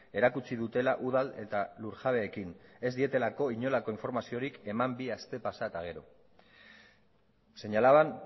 erakutsi dutela udal eta lurjabeekin ez dietelako inolako informaziorik eman bi aste pasa eta gero señalaban